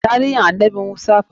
Taarihin annabi Musa fa?